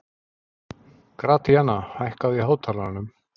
Gratíana, hækkaðu í hátalaranum.